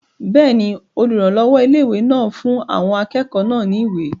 Bẹ́ẹ̀ni, olùrànlọ́wọ́ ilé-ìwé náà fún àwọn akẹ́kọ̀ọ́ náà ní ìwé